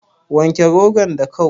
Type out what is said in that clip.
Wanke rogon da kau